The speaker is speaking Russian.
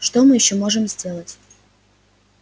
что мы ещё можем сделать